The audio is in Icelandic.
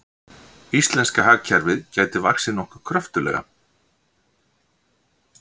Íslenska hagkerfið gæti vaxið nokkuð kröftuglega